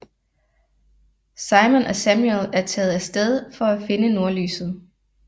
Simon og Samuel er taget af sted for at finde nordlyset